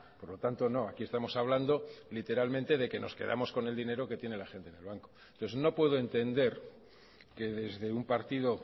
por lo tanto no aquí estamos hablando literalmente de nos quedamos con el dinero que tiene la gente en el banco entonces no puedo entender que desde un partido